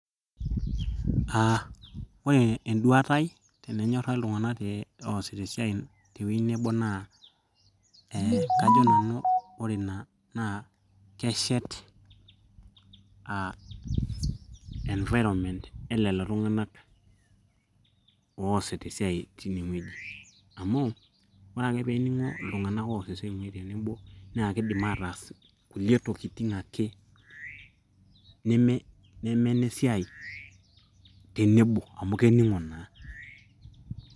uh, ore enduata ai tenenyorra iltung'anak te oosita esiai tewueji nebo naa eh, kajo nanu ore ina naa keshet uh environment elelo tung'anak oosita esiai tinewueji amu ore ake peening'o iltung'anak oos esiai muj tenebo naa kidim ataas kulie tokitin ake nemenesiai tenebo amu kening'o naa.